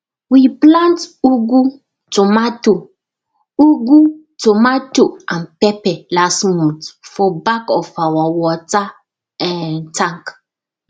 we plant ugu tomato ugu tomato and pepper last month for back of our water um tank